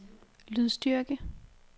lydstyrke